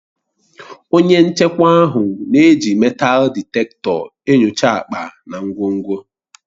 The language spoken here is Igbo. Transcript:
Onye nchekwa ahụ na-eji meetal dịtektọ enyocha akpa na ngwongwo.